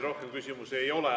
Rohkem küsimusi ei ole.